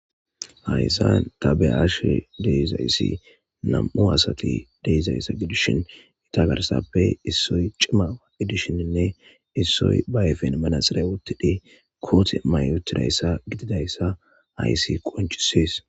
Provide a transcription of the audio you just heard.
Hayssa ta beyashe dizayssi nam'u asata gidishin eetta garssappe issoy cima gidishin issoy ba ayfen manaxire woththidi koote mayi uuttidayssa gididayssa haysati qonccises